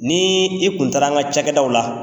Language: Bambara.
Ni i kun taara an ka ca kɛ daw la